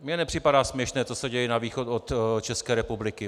Mně nepřipadá směšné, co se děje na východ od České republiky.